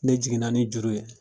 Ne jiginna ni juru ye;